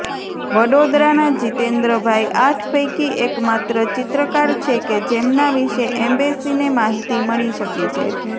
વડોદરાના જિતેન્દ્રભાઈ આઠ પૈકી એકમાત્ર ચિત્રકાર છે કે જેમના વિશે ઍમ્બૅસીને માહિતી મળી શકી છે